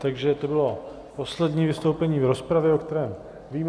Takže to bylo poslední vystoupení v rozpravě, o kterém vím.